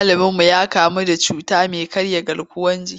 Malaminmu ya kamu da cuta mai karya garkuwar jiki.